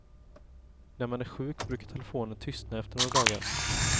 När man är sjuk brukar telefonen tystna efter några dagar.